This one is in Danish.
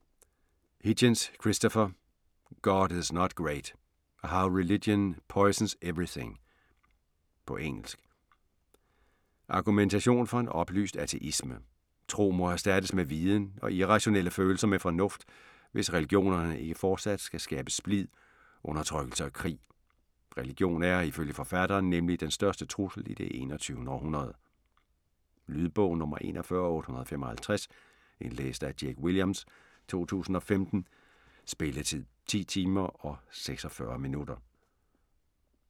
Hitchens, Christopher: God is not great: how religion poisons everything På engelsk. Argumentation for en oplyst ateisme. Tro må erstattes med viden og irrationelle følelser med fornuft, hvis religionerne ikke fortsat skal skabe splid, udertrykkelse og krig. Religion er, ifølge forfatteren, nemlig den største trussel i det 21. århundrede. Lydbog 41855 Indlæst af Jake Williams, 2015. Spilletid: 10 timer, 46 minutter.